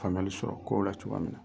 Famuyali sɔrɔ kow la cogoya min